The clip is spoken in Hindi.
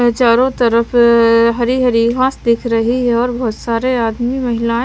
चारों तरफ हरी हरी घास दिख रही है और बहुत सारे आदमी महिलाएं--